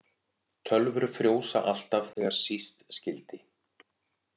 Tölvur frjósa alltaf þegar síst skyldi.